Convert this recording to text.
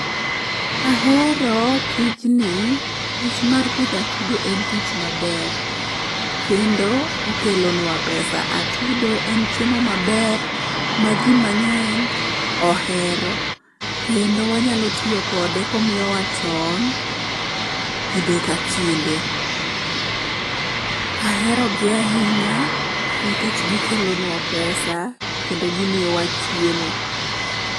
Ahero tijni, tich mar pidho atudo en tich maber kendo okelonwa pesa . Atudo en chiemo maber ma ji mang'eny ohero kendo wanyalo tiyo kode komiyowa tong' kinde ka kinde. Ahero gi ahinya nikech gikelonwa pesa kendo gimiyowa chiemo.